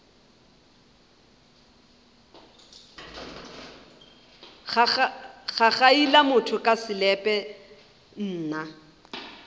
gagaila motho ka selepe nna